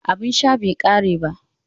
Abin sha bai kare ba